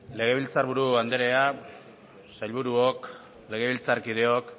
legebiltzar buru andrea sailburuok legebiltzarkideok